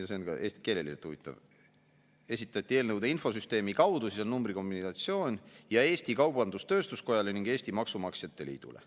Ja see on ka keeleliselt huvitav: esitati eelnõude infosüsteemi kaudu, siis on numbrikombinatsioon, ja Eesti Kaubandus-Tööstuskojale ning Eesti Maksumaksjate Liidule.